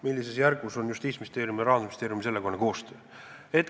Millises järgus on Justiitsministeeriumi ja Rahandusministeeriumi sellekohane koostöö?